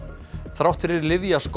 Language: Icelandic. þrátt fyrir lyfjaskort